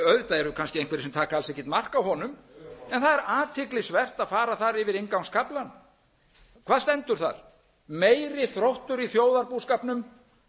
auðvitað eru kannski einhverjir sem taka alls ekkert mark á honum en það er athyglisvert að fara þar yfir inngangskaflann hvað stendur þar meiri þróttur í þjóðarbúskapnum en að